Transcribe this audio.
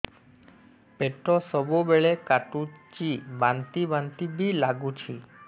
ପେଟ ସବୁବେଳେ କାଟୁଚି ବାନ୍ତି ବାନ୍ତି ବି ଲାଗୁଛି